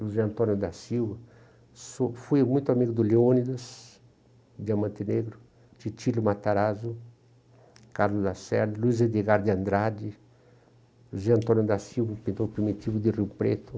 José Antônio da Silva, sou, fui muito amigo do Leônidas, Diamante Negro, Titílio Matarazzo, Carlos Lacerda, Luiz Edgar de Andrade, José Antônio da Silva, pintor primitivo de Rio Preto.